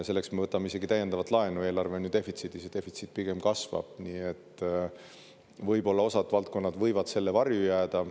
Selleks me võtame isegi täiendavat laenu, eelarve on defitsiidis ja defitsiit pigem kasvab, nii et võib-olla osad valdkonnad võivad selle varju jääda.